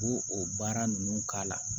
K'o o baara ninnu k'a la